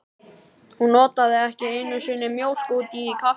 Hún notaði ekki einu sinni mjólk út í kaffi.